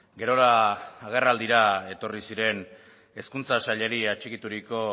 gerora agerraldira etorri ziren hezkuntza sailari atxikituriko